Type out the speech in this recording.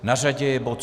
Na řadě je bod